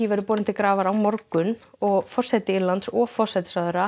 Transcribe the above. verður borin til grafar á morgun og forseti Írlands og forsætisráðherra